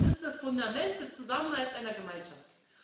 ist. Das ist das Fundament des Zusammenhalts einer Gemeinschaft.